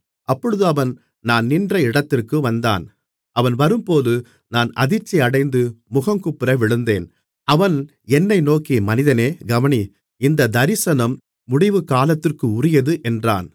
அப்பொழுது அவன் நான் நின்ற இடத்திற்கு வந்தான் அவன் வரும்போது நான் அதிர்ச்சியடைந்து முகங்குப்புற விழுந்தேன் அவன் என்னை நோக்கி மனிதனே கவனி இந்தத் தரிசனம் முடிவுகாலத்திற்குரியது என்றான்